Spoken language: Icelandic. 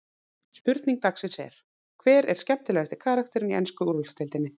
Spurning dagsins er: Hver er skemmtilegasti karakterinn í ensku úrvalsdeildinni?